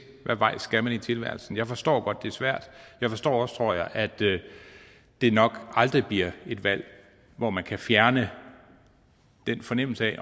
hvad vej skal man i tilværelsen jeg forstår godt at det er svært jeg forstår også tror jeg at det det nok aldrig bliver et valg hvor man kan fjerne den fornemmelse af